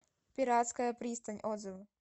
пиратская пристань отзывы